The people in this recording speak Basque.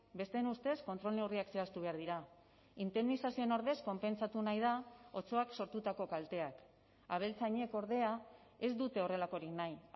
besteen ustez kontrol neurriak zehaztu behar dira indemnizazioen ordez konpentsatu nahi da otsoak sortutako kalteak abeltzainek ordea ez dute horrelakorik nahi